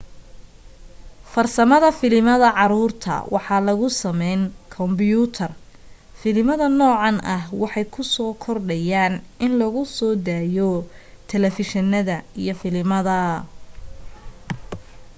farsamada filimada caruurta waxaaa lagu sameen kombuyutar filimada nocan ah waxay ku soo kordhayan in lagu so dayo talefushinada iyo filimada